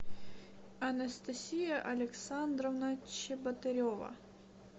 анастасия александровна чеботарева